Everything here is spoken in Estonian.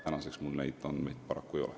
Täna mul paraku neid andmeid ei ole.